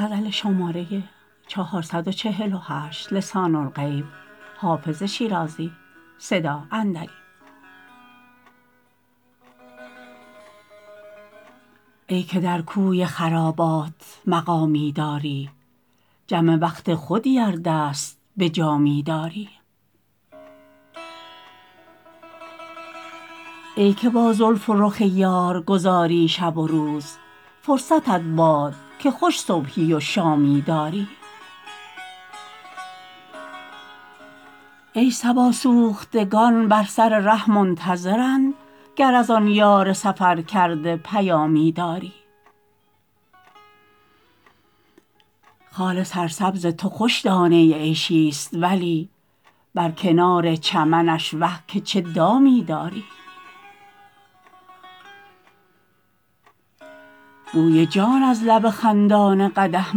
ای که در کوی خرابات مقامی داری جم وقت خودی ار دست به جامی داری ای که با زلف و رخ یار گذاری شب و روز فرصتت باد که خوش صبحی و شامی داری ای صبا سوختگان بر سر ره منتظرند گر از آن یار سفرکرده پیامی داری خال سرسبز تو خوش دانه عیشی ست ولی بر کنار چمنش وه که چه دامی داری بوی جان از لب خندان قدح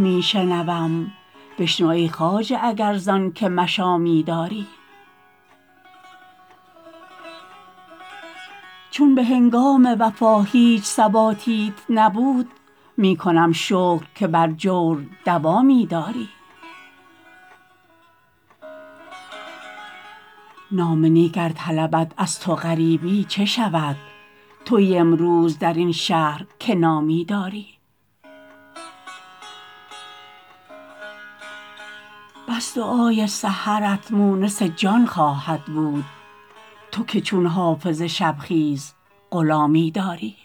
می شنوم بشنو ای خواجه اگر زان که مشامی داری چون به هنگام وفا هیچ ثباتیت نبود می کنم شکر که بر جور دوامی داری نام نیک ار طلبد از تو غریبی چه شود تویی امروز در این شهر که نامی داری بس دعای سحرت مونس جان خواهد بود تو که چون حافظ شب خیز غلامی داری